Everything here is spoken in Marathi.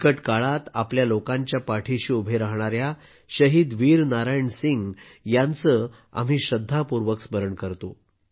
बिकट काळात आपल्या लोकांच्या पाठी उभे राहणाऱ्या शहीद वीर नारायण सिंह यांचे आम्ही श्रद्धापूर्वक स्मरण करतो